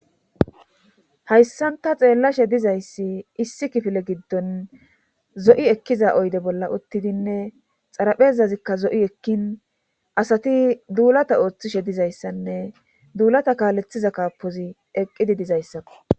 Hayssanta xeellashe dizayssi issi kifile giddon zo'i ekkiza oyde bolla uttidinne xaraphezazikka zo'i ekkin asati duulata ooththishe dizayssanne duulata kaalethiza kaapozi eqqidi dizayssakko.